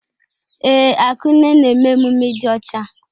Ee, Akunne na-eme emume ịdị ọcha.